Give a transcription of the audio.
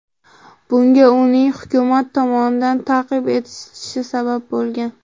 Bunga uning hukumat tomonidan ta’qib etilishi sabab bo‘lgan.